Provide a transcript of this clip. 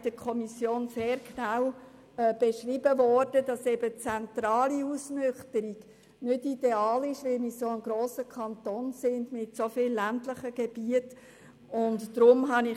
In der Kommission wurde uns sehr genau erläutert, dass eine zentrale Ausnüchterungsstelle nicht ideal ist, weil es sich um einen grossen Kanton mit vielen ländlichen Gebieten handelt.